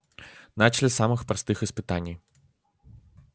начали с самых простых испытаний